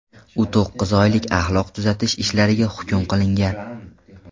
U to‘qqiz oylik axloq tuzatish ishlariga hukm qilingan.